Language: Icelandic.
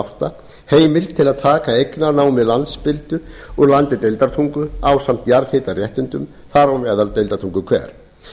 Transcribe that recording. átta heimild til að taka eignarnámi landspildu úr landi deildartungu ásamt jarðhitaréttindum þar á meðal deildartunguhver